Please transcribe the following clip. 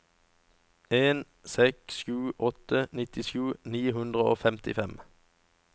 en seks sju åtte nittisju ni hundre og femtifem